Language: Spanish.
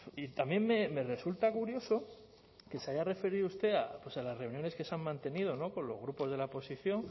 y también me resulta curioso que se haya referido usted pues a las reuniones que se han mantenido con los grupos de la oposición